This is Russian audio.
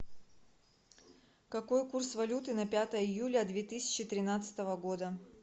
какой курс валюты на пятое июля две тысячи тринадцатого года